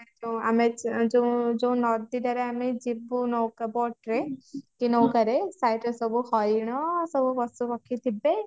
ଯୋଉ ଆମେ ଯୋଉ ଯୋଉ ଯୋଉ ନଦୀ ଟାରେ ଆମେ ଯିବୁ ନୌକା boat ରେ କି ନୌକା ରେ site ରେ ସବୁ ହରିଣ ସବୁ ପଶୁପକ୍ଷୀ ଥିବେ